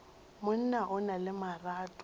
monna o na le marato